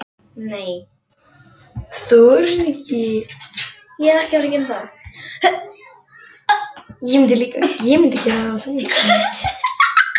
Þar sem trúarhitinn er mestur er minnst von um frið.